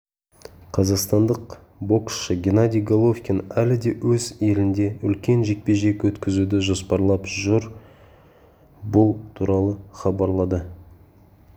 қазақстандық боксшы геннадий головкин әлі де өз елінде үлкен жекпе-жек өткізуді жоспарлап жүр бұл туралы хабарлады